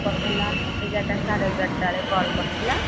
କରିଥିଲା ଏଗାର ଟା ସାଢେ ଏଗାର ଟା ବେଳେ call କରିଥିଲା